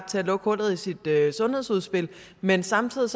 til at lukke hullet i sit sundhedsudspil men samtidig